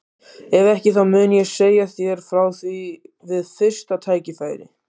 Ef ekki þá mun ég segja þér frá því við fyrsta tækifæri.